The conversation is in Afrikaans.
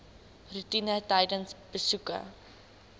roetine tydens besoeke